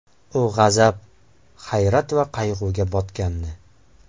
U g‘azab, hayrat va qayg‘uga botgandi.